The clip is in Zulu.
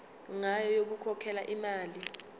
ngayo yokukhokhela imali